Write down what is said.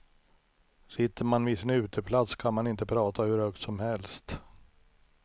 Sitter man vid sin uteplats kan man inte prata hur högt som helst.